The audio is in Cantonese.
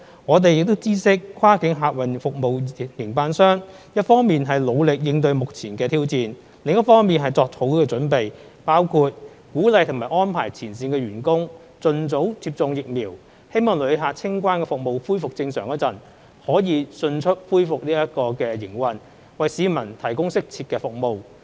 我們知悉跨境客運服務營辦商一方面努力應對目前挑戰，另一方面作好準備，包括鼓勵和安排前線員工盡早接種疫苗，希望旅客清關服務恢復正常時，可以迅速恢復營運，為市民提供適切的服務。